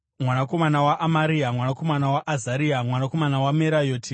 mwanakomana waAmaria, mwanakomana waAzaria, mwanakomana waMerayoti,